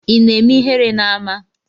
Ina eme ihere na ama?